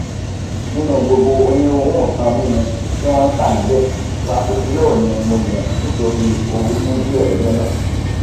nínú gbogbo onírúirú nkan mímu tí wọn ntà níbẹ frapuccinno ni mo yàn nítorí ooru mú díẹ lọjọ náà